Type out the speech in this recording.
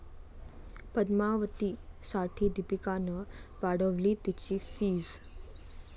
पद्मावती'साठी दीपिकानं वाढवली तिची फीस